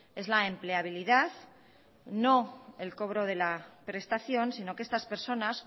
es la empleabilidad no el cobro de la prestación sino que estas personas